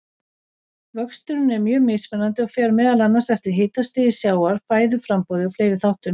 Vöxturinn er mjög mismunandi og fer meðal annars eftir hitastigi sjávar, fæðuframboði og fleiri þáttum.